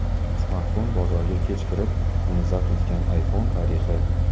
Smartfon bozoriga kech kirib, uni zabt etgan iPhone tarixi.